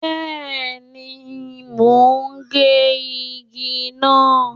Bẹ́ẹ̀ni, mo ń gé igi náà.